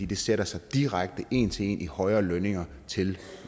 det sætter sig direkte en til en i højere lønninger til